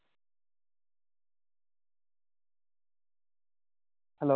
hello